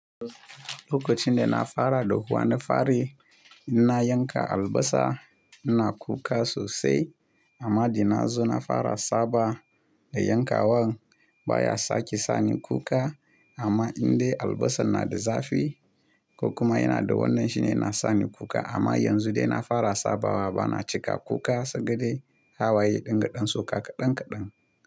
Lokacin da na fara dahuwana farayi inna yanka albasa ina kuka sosai amma da na zo na fara saba da yankawan baya sake sani kuka amma indai albasan na da zafi ko kuma yana da wannan shine na sani kuka amma yanzu dai na fara sabawa bana cika kuka sai ga dai hawaye dingaɗan sauka kaɗan kaɗan.